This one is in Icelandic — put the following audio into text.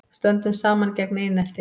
Stöndum saman gegn einelti